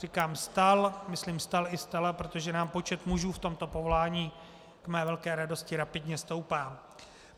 Říkám stal, myslím stal i stala, protože nám počet mužů v tomto povolání k mé velké radosti rapidně stoupá.